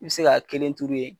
I bi se ka kelen turu yen.